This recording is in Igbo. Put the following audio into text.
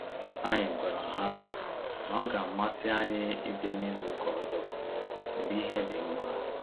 Anyị gwara ha na-ọ ga amasị anyị ịbịa na izu ụka ọzọ mgbe ihe dị nma